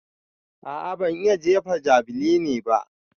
A'a ban iya jefa javeline ba.